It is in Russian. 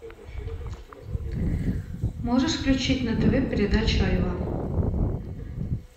можешь включить на тв передачу айва